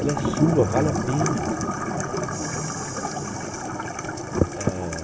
Ela é sua, vale a pena.